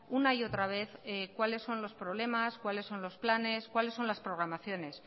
una y otra vez cuáles son los problemas cuáles son los planes cuáles son las programaciones